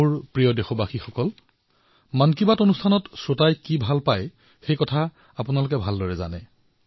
মোৰ মৰমৰ দেশবাসীসকল মন কী বাতত শ্ৰোতাসকলে কি ভাল পায় সেয়া আপোনালোকেই ভালদৰে জানে